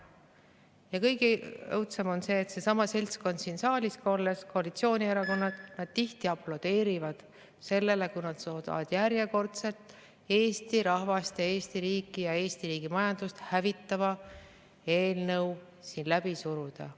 Ja kõige õudsem on see, et seesama seltskond siin saalis – koalitsioonierakonnad – tihti aplodeerib selle peale, kui järjekordne Eesti rahvast, Eesti riiki ja Eesti riigi majandust hävitav eelnõu on suudetud läbi suruda.